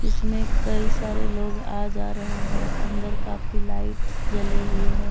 इसमें कई सारे लोग आ जा रहे हैं अंदर काफी लाइट्स जले हुए हैं।